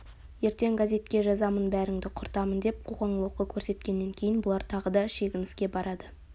ертең газетке жазамын бәріңді құртамын деп қоқаң-лоқы көрсеткеннен кейін бұлар тағы да шегініске барады